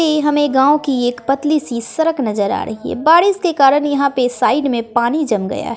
ये हमें गांव की एक पतली सी सरक नजर आ रही है बारिश के कारण यहां पे साइड में पानी जम गया है।